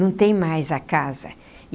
Não tem mais a casa.